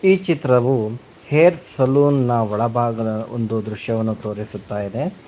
ಈ ಚಿತ್ರವು hair salon ನ ಒಳಭಾಗ ದೃಶ್ಯವನ್ನು ತೋರಿಸುತ್ತಾ ಇದೆ.